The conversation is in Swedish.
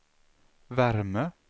värme